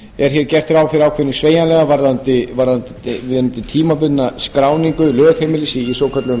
er gert ráð fyrir ákveðnum sveigjanleika varðandi tímabundna skráningu lögheimilis í svokölluðum